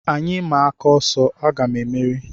Anyị maa aka ọsọ, aga m emeri